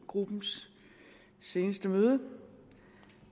gruppens seneste møde